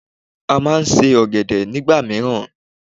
A má a nse ọ̀gẹ̀dẹ̀ nígbà míràn